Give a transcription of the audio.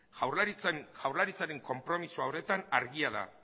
jaurlaritzaren konpromezua horretan argia da